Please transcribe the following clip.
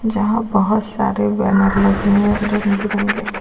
यहां बहुत सारे बैनर लगे हैं रंग बिरंगे।